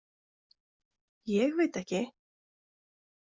Ég veit ekki.